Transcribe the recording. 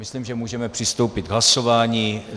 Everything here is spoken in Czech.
Myslím, že můžeme přistoupit k hlasování.